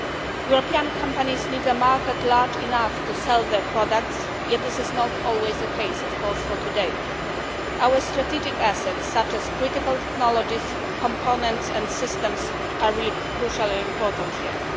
European companies need a market large enough to sell their products, yet this is not always the case, of course, today. Our strategic assets such as critical technologies components and systems are really crucially important here.